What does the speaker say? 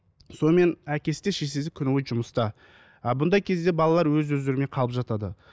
сонымен әкесі де шешесі де күні бойы жұмыста а бұндай кезде балалар өз өздеріне қалып жатады